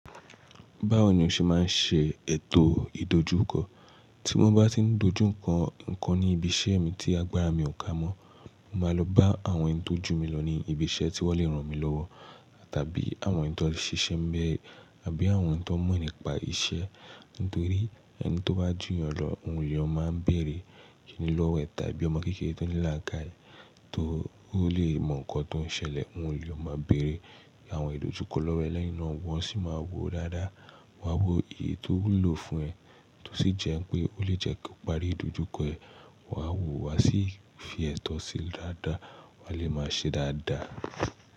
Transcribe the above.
Báwo ni o ṣe máa ń ṣe ètò ìdójúkọ? Tí mo bá tí ń dojú kọ nǹkan ní ibi iṣẹ́ mi tí agbára mi ò ká mọ́, máa lọ bá àwọn ẹni tó jù mí lọ ní ibi iṣẹ́ tí wọ́n lè ràn mí lọ́wọ́, tàbí àwọn ẹni tó ń ṣe iṣẹ́ ńbẹ̀rẹ̀, àbí àwọn ẹni tó mọ̀ nípa iṣẹ́. Nítorí ẹni tó bá jù ìyẹn lọ, òun ni ó máa ń bèrè ìkìnílọ́wọ̀ ẹ̀, tàbí ọmọ kékeré tó ní láka ẹ̀, tó ò lè mọ nǹkan tó ń ṣẹlẹ̀, òun ni ó máa ń bèrè. Àwọn ìdojúkọ, lẹ́yìn ná wá sì wá wò dáadáa, wá wo èyí tó wúlò fún ẹ, tó sì jẹ́ pé ó lè jẹ́ kó parí ìdojú kọ ẹ, wá wò, wá sì fi ètò sí dáda, wá sì má wò dáada.